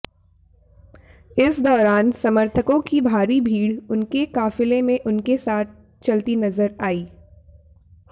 इस दौरान समर्थकों की भारी भीड़ उनके काफिले में उनके साथ चलती नजर आई